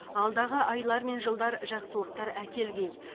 алдағы айлар мен жылдар жақсылықтар әкелгей